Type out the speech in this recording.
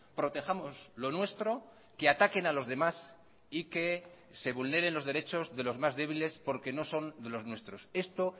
protejamos lo nuestro que ataquen a los demás y que se vulneren los derechos de los más débiles porque no son de los nuestros esto